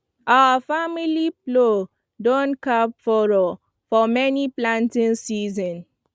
our family plow don carve furrow for many planting season